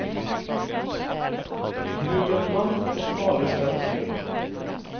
Bruk en lang og farlig skarp kniv.